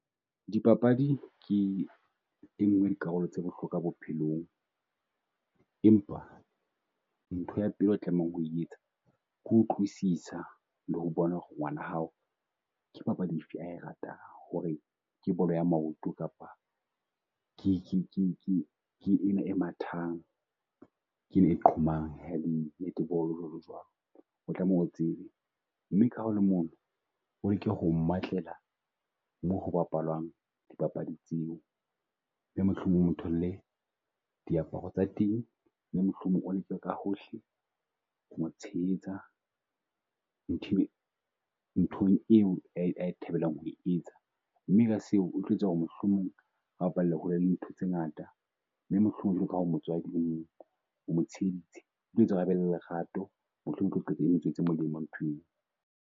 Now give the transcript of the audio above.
Di papadi ke e nngwe ya dikarolo tsa bohlokwa bophelong, empa ntho ya pele e tlamehang ho etsa. Ko utlwisisa le ho bona ho re ngwana hao ke papadi efe a e ratang, ho re ke bolo ya maoto kapa ke ke ke ke ke ena e mathang, ke ena a qhomang netball-o jwalo jwalo. O tlameha o tsebe mme ka mono, o leke ho mmatlela moo ho bapalwang dipapadi tseo. Mme mohlomong o tholle diaparo tsa teng mme mohlomong o leke ka hohle ho mo tshehetsa nthong eo a e a e thabelang ho etsa. Mme ka seo o tlo etsa ho re mohlomong a bapalle hole le ntho tse ngata, mme mohlomong jwalo ka ha o omo tsheheditse. O tlo etsa a be le lerato, mohlomong e tswetse molemo ntho eo.